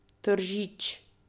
Tržič.